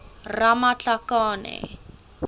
ramatlakane